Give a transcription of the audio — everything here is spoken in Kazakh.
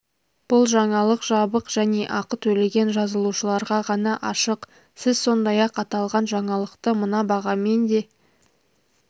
бұл жаңалық жабық және ақы төлеген жазылушыларға ғана ашық сіз сондай-ақ аталған жаңалықты мына бағамен де